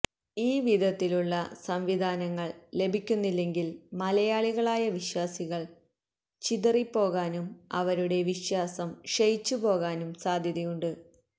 ഈ വിധത്തിലുള്ള സംവിധാനങ്ങള് ലഭിക്കുന്നില്ലെങ്കില് മലയാളികളായ വിശ്വാസികള് ചിതറിപ്പോകാനും അവരുടെ വിശ്വാസം ക്ഷയിച്ചു പോകാനും സാധ്യതയുണ്ട്